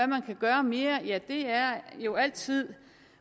man kan gøre mere er jo altid